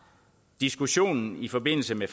diskussionen i forbindelse med